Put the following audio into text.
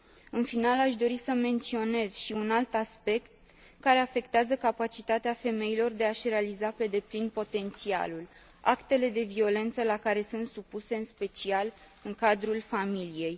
În final, aș dori să menționez și un alt aspect care afectează capacitatea femeilor de a și realiza pe deplin potențialul actele de violență la care sunt supuse, în special în cadrul familiei.